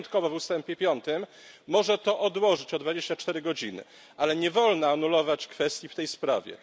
Wyjątkowo w ustępie piątym może to odłożyć o 24 godziny, ale nie wolno anulować kwestii w tej sprawie.